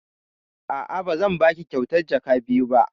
A'a, ba zan baki kyautar jaka biyu ba.